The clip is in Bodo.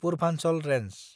पुर्भान्चल रेन्ज